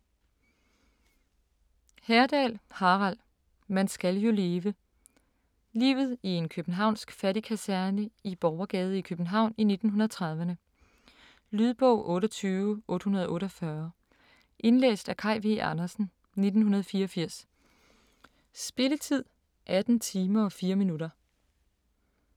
Herdal, Harald: Man skal jo leve Livet i en københavnsk fattigkaserne i Borgergade i København i 1930'rne. Lydbog 28848 Indlæst af Kaj V. Andersen, 1984. Spilletid: 18 timer, 4 minutter.